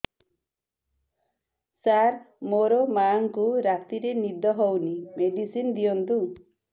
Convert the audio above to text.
ସାର ମୋର ମାଆଙ୍କୁ ରାତିରେ ନିଦ ହଉନି ମେଡିସିନ ଦିଅନ୍ତୁ